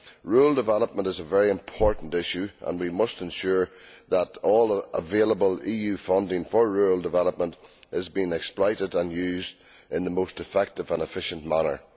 Rural development is a very important issue and we must ensure that all available EU funding for rural development is being exploited and used in the most effective and efficient manner.